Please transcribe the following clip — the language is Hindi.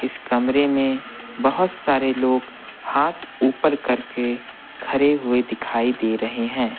इस कमरे में बहुत सारे लोग हाथ ऊपर करके खड़े हुए दिखाई दे रहे हैं।